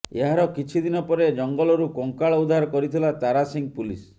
ଏହାର କିଛି ଦିନପରେ ଜଙ୍ଗଲରୁ କଙ୍କାଳ ଉଦ୍ଧାର କରିଥିଲା ତାରାସିଂ ପୁଲିସ